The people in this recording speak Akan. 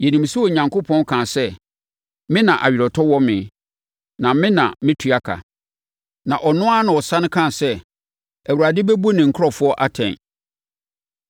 Yɛnim sɛ Onyankopɔn kaa sɛ, “Me na aweretɔ wɔ me, na me na metua ka,” na ɔno ara na ɔsane kaa sɛ, “Awurade bɛbu ne nkurɔfoɔ atɛn.”